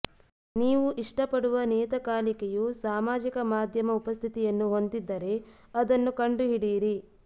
ನೀವು ಇಷ್ಟಪಡುವ ನಿಯತಕಾಲಿಕೆಯು ಸಾಮಾಜಿಕ ಮಾಧ್ಯಮ ಉಪಸ್ಥಿತಿಯನ್ನು ಹೊಂದಿದ್ದರೆ ಅದನ್ನು ಕಂಡುಹಿಡಿಯಿರಿ